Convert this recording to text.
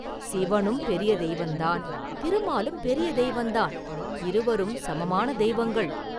“சிவனும் பெரிய தெய்வந்தான்; திருமாலும் பெரிய தெய்வந்தான் இருவரும் சமமான தெய்வங்கள்.